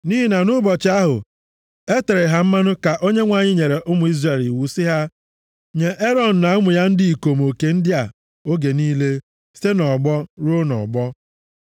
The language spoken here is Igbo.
Nʼihi na nʼụbọchị ahụ e tere ha mmanụ ka Onyenwe anyị nyere ụmụ Izrel iwu sị ha nye Erọn na ụmụ ya ndị ikom oke ndị a oge niile, site nʼọgbọ ruo nʼọgbọ.